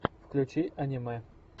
включи аниме